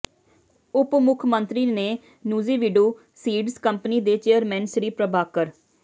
ਉਪ ਮੁੱਖ ਮੰਤਰੀ ਨੇ ਨੂਜ਼ੀਵੀਡੂ ਸੀਡਜ਼ ਕੰਪਨੀ ਦੇ ਚੇਅਰਮੈਨ ਸ੍ਰੀ ਪ੍ਰਭਾਕਰ